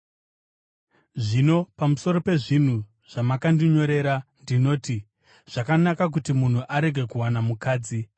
Zvino pamusoro pezvinhu zvamakandinyorera, ndinoti: Zvakanaka kuti munhu arege kuwana mukadzi.